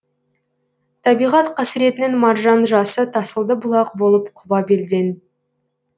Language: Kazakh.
табиғат қасіретінің маржан жасы тасыды бұлақ болып құба белден